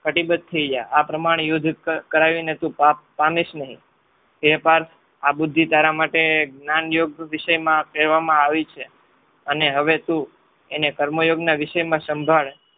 કટિબદ્ધ થઈ ગયા. આ પ્રમાણે યુદ્ધ કરાવીને તું પાપ પામીશ નહિ. હે પાર્થ આ બુદ્ધિ તારા માટે જ્ઞાન યોગ વિષયમાં કહેવામાં આવી છે. અને હવે તું એને કર્મ યોગ વિષયમાં સંભાળે